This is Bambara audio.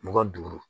Mugan ni duuru